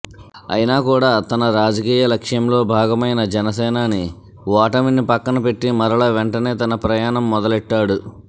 అయిన కూడా తన రాజకీయ లక్ష్యంలో భాగమైన జనసేనాని ఓటమిని పక్కన పెట్టి మరల వెంటనే తన ప్రయాణం మొదలెట్టాడు